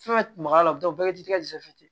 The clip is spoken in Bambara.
Fɛn fɛn ma dɔn ti kɛ ten